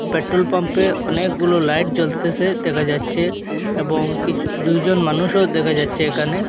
Petrol পাম্পে অনেকগুলো light জ্বলতেসে দেখা যাচ্ছে এবং কিছু দুজন মানুষও দেখা যাচ্ছে এখানে।